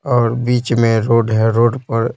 और बीच में रोड है रोड पर--